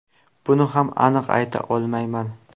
Buni ham aniq ayta olmayman.